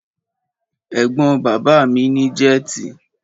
Ẹ̀gbọ́n bàbá mi ní jẹ́tì.